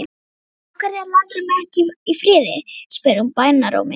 Af hverju læturðu mig ekki í friði? spurði hún bænarrómi.